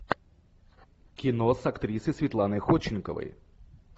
кино с актрисой светланой ходченковой